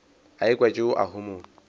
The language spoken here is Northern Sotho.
a ekwa tšeo a homola